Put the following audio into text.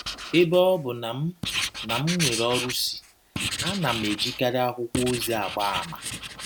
Ebe ọ bụ na m na m nwere ọrụsị, a na m ejikarị akwụkwọ ozi agba àmà.